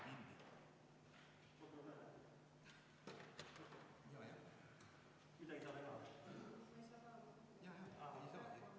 Siis, kui on kohaloleku kontroll tehtud ja keegi ei saa sisse, palun andke meile sellest märku.